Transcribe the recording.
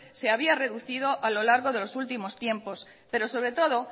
se había reducido a lo largo de los últimos tiempos pero sobre todo